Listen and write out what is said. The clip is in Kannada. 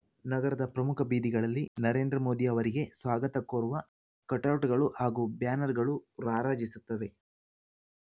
ನಗರದ ಪ್ರಮುಖ ಬೀದಿಗಳಲ್ಲಿ ನರೇಂದ್ರ ಮೋದಿ ಅವರಿಗೆ ಸ್ವಾಗತ ಕೋರುವ ಕಟೌಟ್‌ಗಳು ಹಾಗೂ ಬ್ಯಾನರ್‌ಗಳು ರಾರಾಜಿಸುತ್ತವೆ